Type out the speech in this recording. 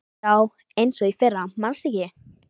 Já, eins og í fyrra manstu ekki?